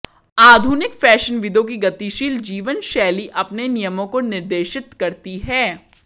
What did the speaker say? आधुनिक फैशनविदों की गतिशील जीवनशैली अपने नियमों को निर्देशित करती है